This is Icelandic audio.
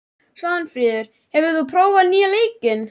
Svanfríður, hefur þú prófað nýja leikinn?